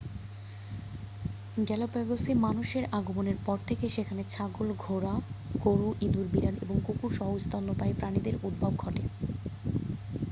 গ্যালাপ্যাগোসে মানুষের আগমনের পর থেকেই সেখানে ছাগল ঘোড়া গরু, ইঁদুর বিড়াল এবং কুকুর সহ স্তন্যপায়ী প্রাণীদের উদ্ভব ঘটে।